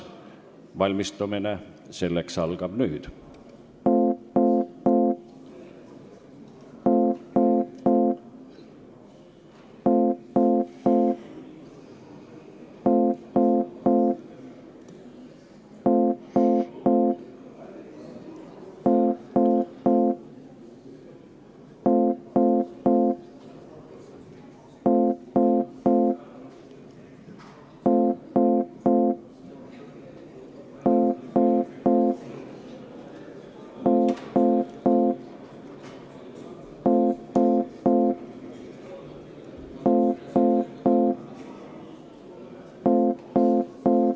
Valmistumine selleks algab nüüd!